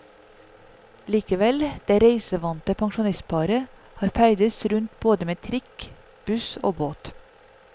Likevel, det reisevante pensjonistparet har ferdes rundt både med trikk, buss og båt.